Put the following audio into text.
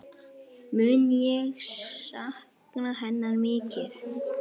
Mun ég sakna hennar mikið.